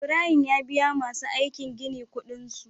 Ibrahim ya biya masu aikin gini Ƙudin su